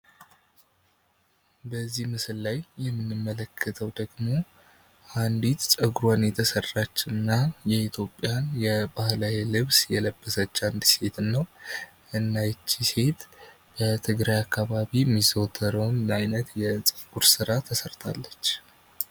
በዚህ ምስል ላይ የምንመለከተው ደግሞ ፀጉሮን የተሰራችና የኢትዮጵያ የባህላዊ ልብስ የለበሰች አንዲት ሴትን ነው ።እና እቺ ሴት የትግራይ አካበቢ ሚዘወተርው የፀጉር ስራ ተሰርታለች።